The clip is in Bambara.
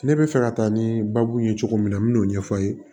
Ne bɛ fɛ ka taa ni baabu ye cogo min na n bɛ n'o ɲɛfɔ a ye